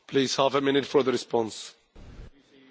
Vielen Dank, Herr Kollege, für diese Frage.